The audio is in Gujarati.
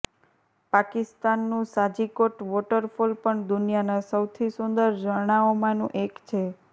પાકિસ્તાનનું સાજિકોટ વોટરફોલ પણ દુનિયાના સૌથી સુંદર ઝરણાઓમાંનું એક છે